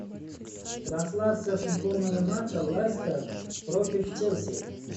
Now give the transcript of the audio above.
трансляция футбольного матча лестер против челси